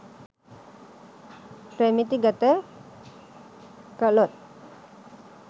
ප්‍රමිති ගත කළොත්